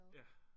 Ja